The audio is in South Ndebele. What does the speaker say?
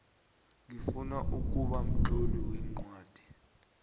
ngifuna ukuba mtloli weencwadi